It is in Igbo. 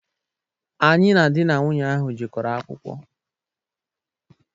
Anyị na dị na nwụnye ahụ jekoro akwụkwọ.